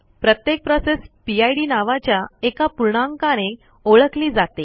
प्रत्येक process PID नावाच्या एका पूर्णांकाने ओळखली जाते